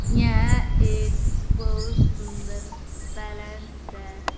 यहां एक बहुत सुंदर पैलेस है।